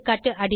எகா